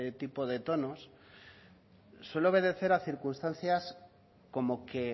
tipo de tono suele obedecer a circunstancias como que